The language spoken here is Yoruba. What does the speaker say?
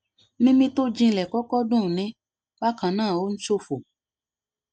mímí tó jinlẹ kọkọ dunni bákan náà ó ń ṣọfọ